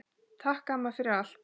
Takk, amma, fyrir allt.